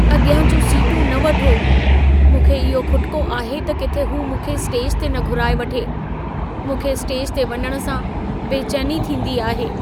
अॻियां जूं सीटूं न वठो। मूंखे इहो खुटिको आहे त किथे हू मूंखे स्टेज ते न घुराए वठे। मूंखे स्टेज ते वञण सां बेचैनी थींदी आहे।